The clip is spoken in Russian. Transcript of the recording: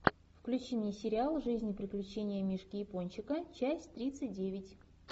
включи мне сериал жизнь и приключения мишки япончика часть тридцать девять